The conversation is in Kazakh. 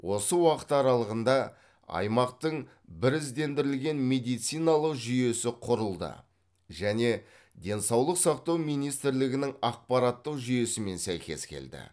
осы уақыт аралығында аймақтың біріздендірілген медициналық жүйесі құрылды және денсаулық сақтау министрлігінің ақпараттық жүйесімен сәйкес келді